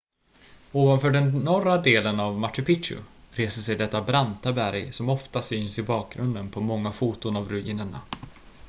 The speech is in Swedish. ovanför den norra delen av machu picchu reser sig detta branta berg som ofta syns i bakgrunden på många foton av ruinerna